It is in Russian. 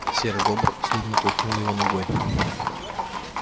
серый бобр злобно толкнул его ногой